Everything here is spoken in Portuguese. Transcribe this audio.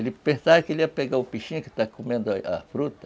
Ele pensava que ia pegar o peixinho que estava comendo a fruta.